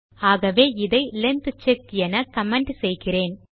ஆகவே இதை length check என கமெண்ட் செய்கிறேன்